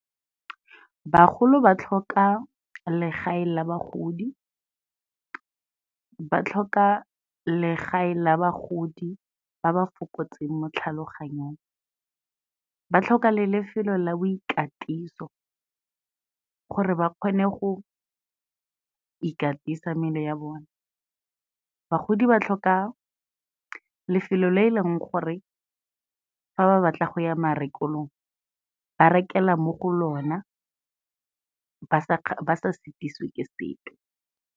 Bagolo ba tlhoka legae la bagodi, ba tlhoka legae la bagodi ba ba fokotseng mo tlhaloganyong, ba tlhoka le lefelo la boikatiso gore ba kgone go ikatisa mmele ya bone, bagodi ba tlhoka lefelo le e leng gore fa ba batla go ya marekelong ba rekela mo go lona ba sa šitišwe ke sepe.